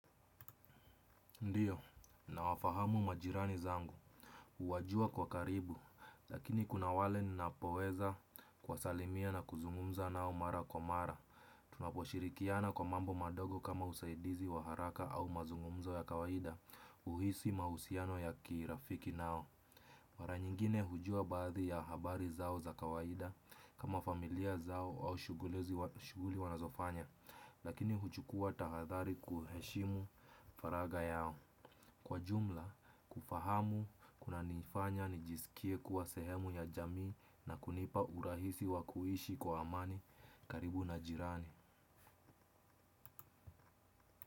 Ndiyo, nawafahamu majirani zangu, huwajua kwa karibu, lakini kuna wale ninapoweza kuwasalimia na kuzungumza nao mara kwa mara. Tunaposhirikiana kwa mambo madogo kama usaidizi wa haraka au mazungumzo ya kawaida, huhisi mahusiano ya kirafiki nao mara nyingine hujua baadhi ya habari zao za kawaida kama familia zao au shughuli wanazofanya. Lakini huchukua tahadhari kuheshimu faragha yao. Kwa jumla kufahamu kunanifanya nijisikie kuwa sehemu ya jamii na kunipa urahisi wa kuishi kwa amani karibu na jirani.